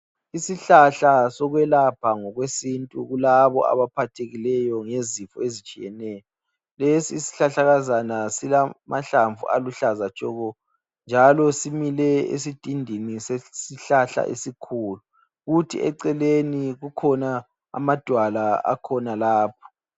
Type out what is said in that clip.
Isihlahla sokwelapha ngokwesintu kulabo abaphathekileyo ngezifo ezitshiyeneyo lesi isihlahlakazana silamahlamvu aluhlaza tshoko njalo simile esidindini sesihlahla esikhulu. Kuthi eceleni kukhona amadwala akhona lapho.